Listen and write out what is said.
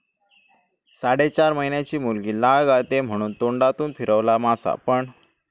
साडेचार महिन्याची मुलगी लाळ गाळते म्हणून तोंडातून फिरवला मासा, पण..!